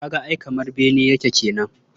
Ka ga ai kamar bene yake kenan.